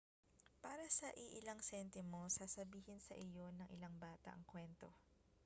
para sa iilang sentimo sasabihin sa iyo ng ilang bata ang kwento